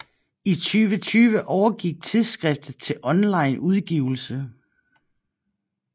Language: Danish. I 2020 overgik tidsskriftet til online udgivelse